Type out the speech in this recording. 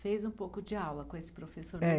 Fez um pouco de aula com esse professor mesmo. Eh